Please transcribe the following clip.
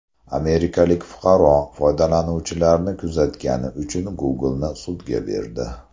Amerikalik fuqaro foydalanuvchilarni kuzatgani uchun Google’ni sudga berdi.